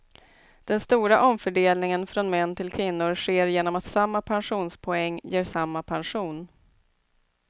Den stora omfördelningen från män till kvinnor sker genom att samma pensionspoäng ger samma pension.